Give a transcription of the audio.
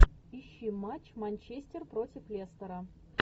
ищи матч манчестер против лестера